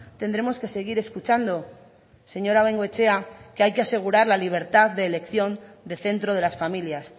tendremos que seguir escuchando señora bengoechea que hay que asegurar la libertad de elección de centro de las familias